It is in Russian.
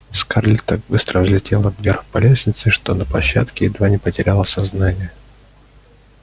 скарлетт так быстро взлетела вверх по лестнице что на площадке едва не потеряла сознание